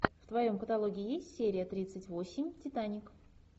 в твоем каталоге есть серия тридцать восемь титаник